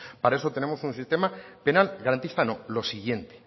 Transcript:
para eso tenemos un sistema penal garantista no lo siguiente